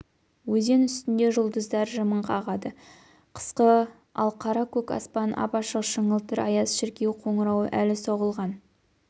өзен үстінде жұлдыздар жымың қағады қысқы ал қара-көк аспан ап-ашық шыңылтыр аяз шіркеу қоңырауы әлі соғылған